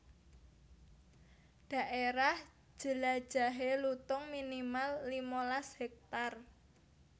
Dhaérah jelajahé lutung minimal limalas hektar